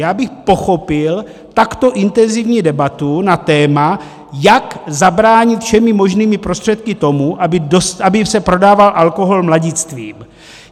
Já bych pochopil takto intenzivní debatu na téma, jak zabránit všemi možnými prostředky tomu, aby se prodával alkohol mladistvým.